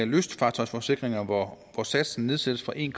lystfartøjsforsikringer hvor satsen nedsættes fra en